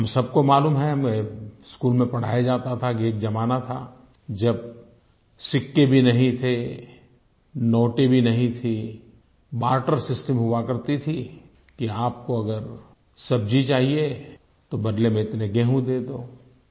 हम सबको मालूम है हमें स्कूल में पढ़ाया जाता था कि एक ज़माना था जब सिक्के भी नहीं थे नोट भी नहीं थे बार्टर सिस्टम हुआ करता था कि आपको अगर सब्जी चाहिए तो बदले में इतने गेहूँ दे दो